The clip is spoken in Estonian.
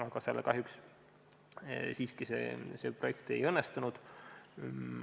Aga seal see projekt kahjuks siiski ei õnnestunud.